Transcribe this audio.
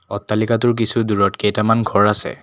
অট্টালিকাটোৰ কিছু দূৰত কেইটামান ঘৰ আছে।